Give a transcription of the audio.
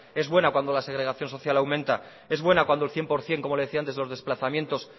es buena cuando la segregación social aumenta es buena cuando el cien por ciento como le decía antes los desplazamientos